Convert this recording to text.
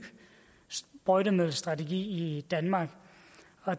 sprøjtemiddelstrategi i danmark